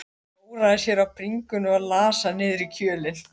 Klóraði sér á bringunni og las hann niður í kjölinn.